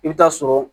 I bɛ taa sɔrɔ